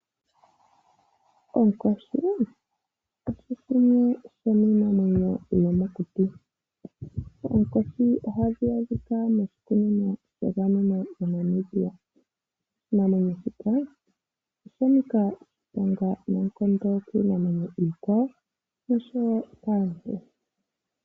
Onkoshi osho shimwe shomiinamwenyo yomokuti. Oonkoshi ohadhi adhika moshikunino sha gamenwa moNamibia. Oshinamwenyo shika osha nika oshiponga noonkondo kiinamwenyo iikwawo osho wo kaantu.